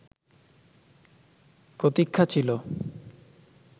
প্রতীক্ষা ছিল